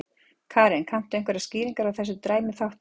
Karen: Kanntu einhverjar skýringar á þessari dræmu þátttöku?